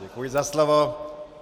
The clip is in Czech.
Děkuji za slovo.